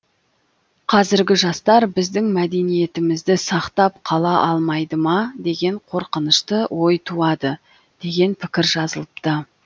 қазіргі жастар біздің мәдениетімізді сақтап қала алмайды ма деген қорқынышты ой туады деген пікір жазылыпты